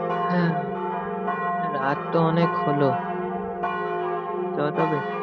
হ্যাঁ না রাত তো অনেক হলো চ তবে।